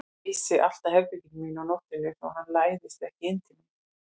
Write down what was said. Ég læsi alltaf herberginu mínu á nóttunni svo hann læðist ekki inn til mín.